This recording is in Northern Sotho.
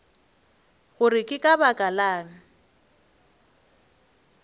gore ke ka baka lang